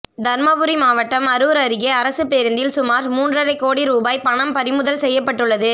தருமபுரி மாவட்டம் அரூர் அருகே அரசுப் பேருந்தில் சுமார் மூன்றரை கோடி ரூபாய் பணம் பறிமுதல் செய்யப்பட்டுள்ளது